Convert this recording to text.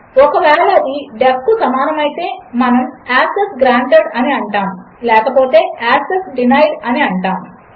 ఒకవేళఅది DEF కుసమానముఅయితే మనము access granted అనిఅంటాములేకపోతే యాక్సెస్ డీనైడ్ అనిఅంటాము